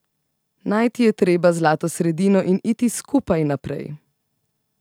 Najti je treba zlato sredino in iti skupaj naprej.